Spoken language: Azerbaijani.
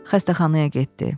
Xəstəxanaya getdi.